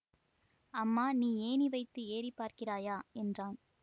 அம்மா நீ ஏணி வைத்து ஏறி பார்க்கிறாயா என்றான்